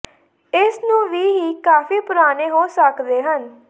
ਇਸ ਨੂੰ ਵੀ ਹੀ ਕਾਫ਼ੀ ਪੁਰਾਣੇ ਹੋ ਸਕਦੇ ਹਨ